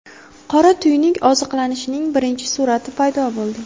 Qora tuynuk oziqlanishining birinchi surati paydo bo‘ldi.